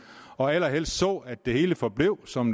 og allerhelst så at det hele forbliver som